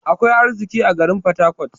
Akwai arziƙi a garin porharcourt.